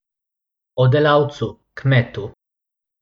O delavcu, kmetu.